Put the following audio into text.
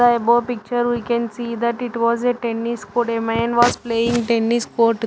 The above picture we can see that it was a tennis court. A man was playing tennis court.